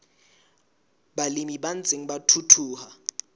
balemi ba ntseng ba thuthuha